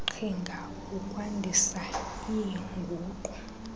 qhinga ukwandisa iinguqu